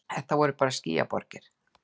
Þetta voru bara skýjaborgir.